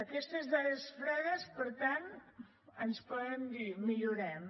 aquestes dades fredes per tant ens poden dir millorem